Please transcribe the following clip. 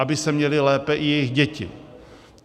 Aby se měly lépe i jejich děti.